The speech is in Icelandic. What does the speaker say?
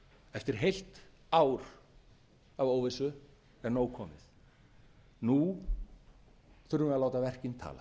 eftir heilt ár af óvissu er nóg komið nú þurfum við að